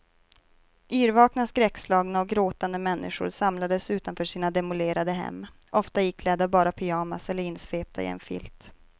Yrvakna, skräckslagna och gråtande människor samlades utanför sina demolerade hem, ofta iklädda bara pyjamas eller insvepta i en filt.